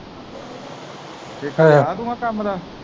ਹਾਂ ਠੇਕਾ ਲਿਆ ਤੂੰ ਆਹ ਕੰਮ ਦਾ।